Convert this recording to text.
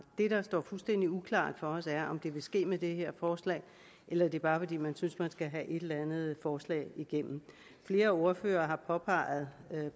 det der står fuldstændig uklart for os er om det vil ske med det her forslag eller det bare er fordi man synes man skal have et eller andet forslag igennem flere ordførere har påpeget